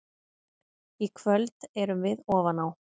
Í kvöld erum við ofan á.